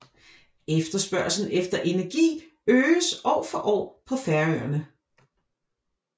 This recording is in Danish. Efterspørgslen efter energi øges år for år på Færøerne